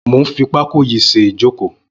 Mó n fi pákó yi ṣé ijókó